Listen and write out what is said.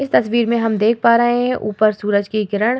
इस तस्वीर में हम देख पा रहे है ऊपर सूरज की किरण --